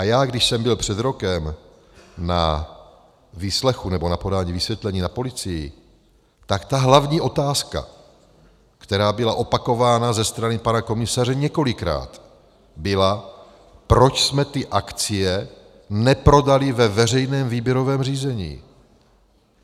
A já, když jsem byl před rokem na výslechu nebo na podání vysvětlení na policii, tak ta hlavní otázka, která byla opakována ze strany pana komisaře několikrát, byla, proč jsme ty akcie neprodali ve veřejném výběrovém řízení.